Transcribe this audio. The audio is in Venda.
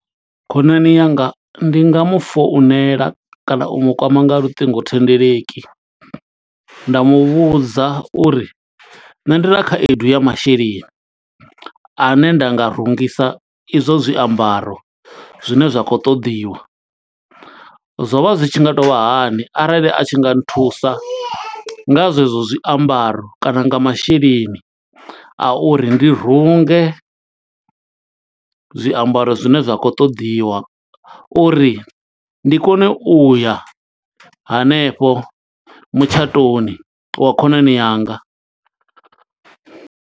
Khonani yanga ndi nga mu founela kana u mu kwama nga luṱingothendeleki. Nda muvhudza uri nṋe ndi na khaedu ya masheleni ane nda nga rungisa izwo zwiambaro zwine zwa khou ṱoḓiwa. Zwo vha zwi tshi nga tou vha hani arali a tshi nga nthusa nga zwe zwo zwiambaro, kana nga masheleni a uri ndi runge, zwiambaro zwine zwa khou ṱoḓiwa. Uri ndi kone u ya hanefho mutshatoni wa khonani yanga.